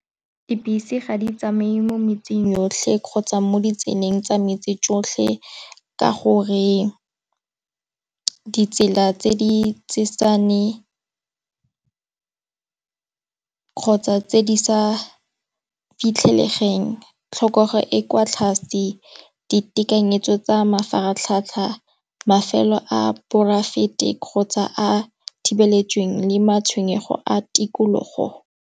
Dibese ga di tsamaye mo metseng yotlhe kgotsa mo di tseleng tsa metsi tsotlhe. Ka gore ditsela tse di kgotsa tse di sa fitlhegeng. Tlhokege e kwa tlase ditekanyetso tsa mafaratlhatlha mafelo a poraefete kgotsa a thibeletsa teng le matshwenyego a tikologo.